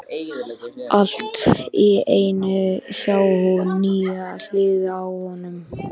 Allt í einu sá hún nýja hlið á honum.